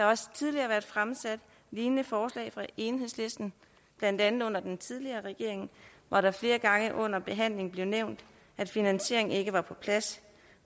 også tidligere været fremsat lignende forslag fra enhedslisten blandt andet under den tidligere regering var det flere gange under behandlingen blevet nævnt at finansieringen ikke var på plads